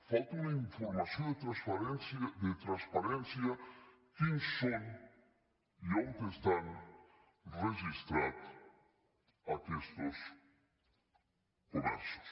falta una informació de transparència quins són i on estan registrats aquestos comerços